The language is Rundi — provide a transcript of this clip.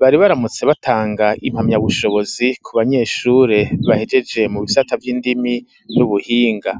bari baramutse batanga impamya bushobozi ku banyeshure bahegeje mu bisata vy'indimi y'ubuhinga.